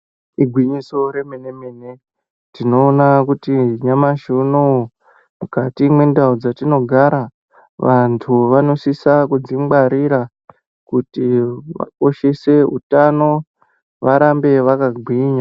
Igwinyiso remene-mene, tinoona kuti nyamashi unouyu mukati mendau dzetinogara vantu vanosisa kudzingarira. Kuti usise utano varambe vakagwinya.